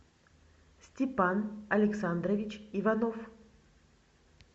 степан александрович иванов